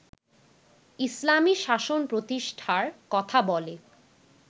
ইসলামী শাসন প্রতিষ্ঠার কথা বলে